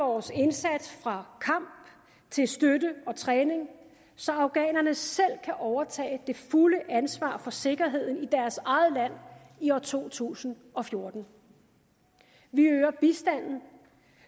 vores indsats fra kamp til støtte og træning så afghanerne selv kan overtage det fulde ansvar for sikkerheden i deres eget land i år to tusind og fjorten vi øger bistanden